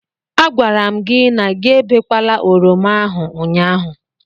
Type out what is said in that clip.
A gwara m gi na gị ebekwala oroma ahụ ụnyaahụ.